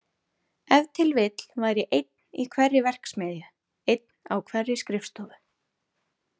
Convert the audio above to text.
Ef til vill væri einn í hverri verksmiðju, einn á hverri skrifstofu.